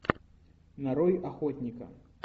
нарой охотника